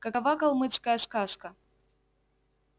какова калмыцкая сказка